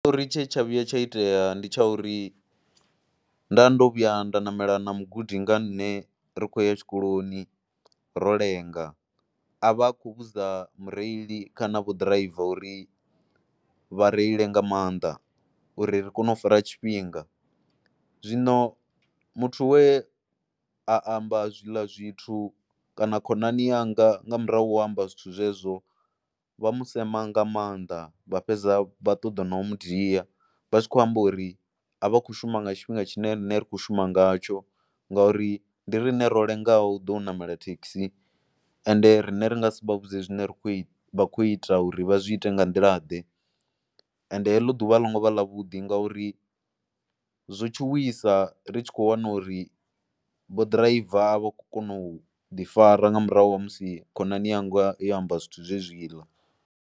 Tshiṱori tshe tsha vhuya tsha itea ndi tsha uri, nda ndo vhuya nda ṋamela na mugudi nga ṋne ri khou ya tshikoloni ro lenga, a vha a khou vhudza mureili kana vho ḓiraiva uri vha reile nga maanḓa uri ri kone u fara tshifhinga. Zwino muthu we a amba zwiḽa zwithu kana khonani yanga nga murahu amba zwithu zwezwo vha mu sema nga maanḓa, vha fhedza vha ṱoḓa no mu dia vha tshi khou amba uri a vha khou shuma nga tshifhinga tshine riṋe ri kho shuma ngatsho ngauri ndi riṋe ro lengaho do ṋamela thekhisi ende riṋe ri nga si vha vhudze zwine ra khou vha kho ita uri vha zwi ite nga nḓilaḓe. Ende heḽo ḓuvha a ḽo ngo vha ḽavhuḓi ngauri zwo tshuwisa ri tshi khou wana uri vho ḓiraiva a vha khou kona u ḓifara nga murahu ha musi khonani yanga yo amba zwithu zwezwiḽa.